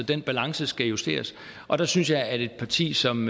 den balance skal justeres og der synes jeg at et parti som